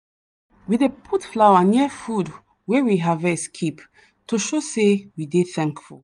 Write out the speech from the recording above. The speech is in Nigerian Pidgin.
we dey put flower near food wey we harvest keep to show sey we dey thankful.